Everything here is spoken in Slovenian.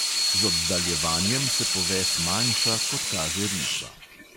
Z oddaljevanjem se poves manjša, kot kaže risba.